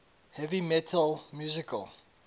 heavy metal musical